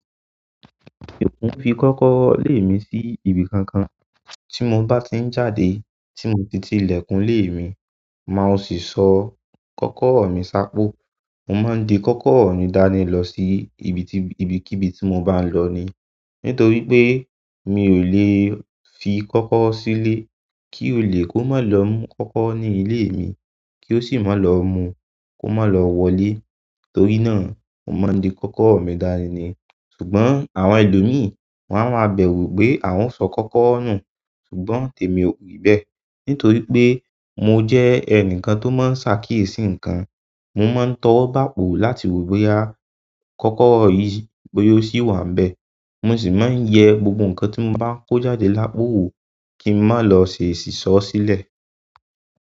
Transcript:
Fi kọ́kọ́rọ́ lé mi sí ibi kankan tí mo bá tí ń jáde. Tí mo ti ti ilẹ̀kùn ilé mi máa sì sọ kọ́kọ́rọ́ mi sá pó. Mo máa ń di kọ́kọ́rọ́ mi dání lọ sí ibi tí, ibi kí ibi tí mo bá ń lọ ni. Nítorí pé mi ò lè fi kọ́kọ́rọ́ sílé kí ó lè kó máa lọ mú kọ́kọ́rọ́ ní ilé mi kí ó sì máa lọ mú, kó má lọ wọlé. Torí náà mo máa ń di kọ́kọ́rọ́ mi dání ni. Ṣùgbọ́n àwọn ẹlòmíì won a máa bẹ̀rù pé àwọn o sọ kọ́kọ́rọ́ nù. Ṣùgbọ́n tèmi ò rí bẹ́ẹ̀. Nítorí pé mo jẹ́ ẹnìkan tó máa ń ṣàkíyèsí nǹkan. Mo máa ń tọ́wọ́ bo àpò láti wo bóyá kọ́kọ́rọ́ yìí bóyá ó ṣì wà níbẹ̀. Mo sì máa ń yẹ gbogbo nǹkan tí mo bá kó jáde lápò wò kí n má lọ ṣe èsísọ́ sílẹ̀.